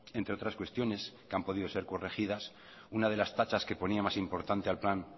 entre otras cuestiones que han podido ser corregidas una de las tachas que ponía más importante al plan